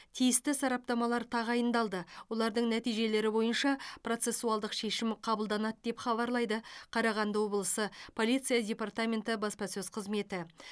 тиісті сараптамалар тағайындалды олардың нәтижелері бойынша процессуалдық шешім қабылданады деп хабарлайды қарағанды облысы полиция департаменті баспасөз қызметі